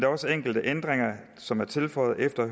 også enkelte ændringer som er tilføjet efter at